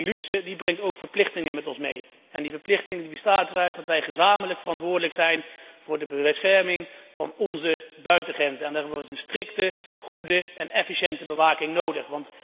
Maar die luxe brengt ook verplichtingen mee en die verplichting bestaat eruit dat wij gezamenlijk verantwoordelijk zijn voor de bescherming van onze buitengrenzen en daarvoor is een strikte, goede en efficiënte bewaking nodig.